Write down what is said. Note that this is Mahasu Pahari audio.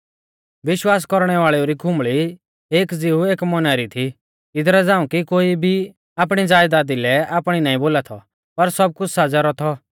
विश्वास कौरणै वाल़ेऊ री खुंबल़ी एक ज़िऊ एक मौना री थी इदरा झ़ांऊ कि कोई भी आपणी ज़यदादा लै आपणी नाईं बोला थौ पर सब कुछ़ साझ़ै रौ थौ